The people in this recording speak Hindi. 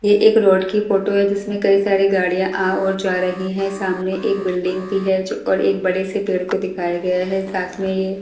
ये एक रोड की फोटो है जिसमें कई सारी गाड़ियां आ और जा रही हैं सामने एक बिल्डिंग भी है जो और एक बड़े से पेड़ को दिखाया गया है साथ में ये--